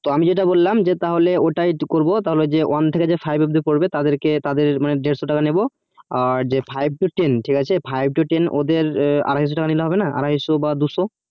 তো আমি যেটা বললাম তাহলে ওটাই করবো তাহলে one থেকে five অব্দি পড়বো তাদের কে বা তাদের দেড়শো টাকা নিবো আর যে five to ten ঠিক আছে ওদের আড়াইশো টাকা নিলে হবে না আড়াইশো বা দুশো